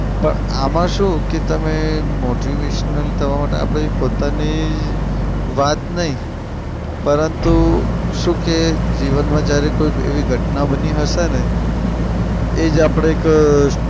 પણ આમાં શું કે તમે motivational થવા માટે આપડે પોતાની વાત નઈ પરંતુ શું કે જીવનમાં જયારે કોઈક એવી ઘટના બની હશે ને એ જ આપડે એક